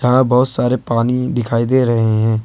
यहां बहुत सारे पानी भी दिखाई दे रहे हैं।